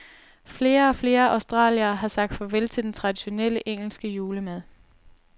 Flere og flere australiere har sagt farvel til den traditionelle engelske julemad.